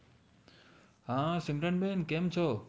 હા સિમરન બેન કેમ છો